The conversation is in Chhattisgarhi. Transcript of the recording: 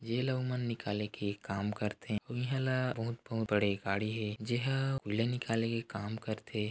जेला ओमन निकाले के काम करथे अऊ इहाँ ल बहुत-बहुत बड़े गाड़ी हे जेहा ओला निकाले के काम करथे।